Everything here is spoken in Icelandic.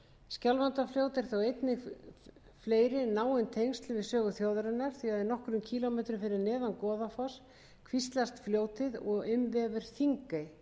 fleiri náin tengsl við sögu þjóðarinnar því nokkrum kílómetrum fyrir neðan goðafoss kvíslast fljótið og umvefur þingey